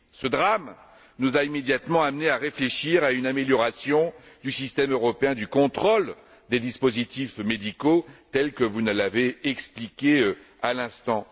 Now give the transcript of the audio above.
Ce drame nous a immédiatement amenés à réfléchir à une amélioration du système européen du contrôle des dispositifs médicaux tel que vous nous l'avez expliqué à l'instant.